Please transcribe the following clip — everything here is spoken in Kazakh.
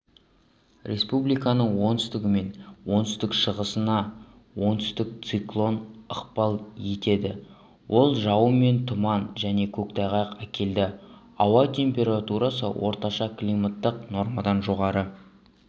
республиканың оңтүстігі мен оңтүстік-шығысына аңтүстіктік циклон ықпал етеді ол жауын мен тұман және көктайғақ әкеледі ауа температурасы орташа климаттық нормадан жоғары